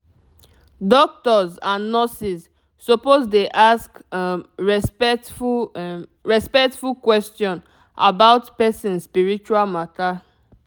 doctors and nurses suppose dey ask um respectful um respectful question about person spiritual matter